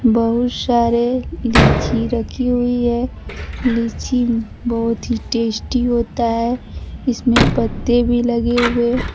बहुत सारे लीची रखी हुई है लीची बहुत ही टेस्टी होता है इसमें पत्ते भी लगे हुए --